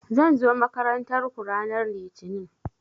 Zan zo makarantar ku ranan litini